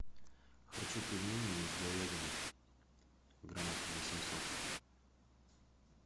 хочу пельмени из говядины граммов восемьсот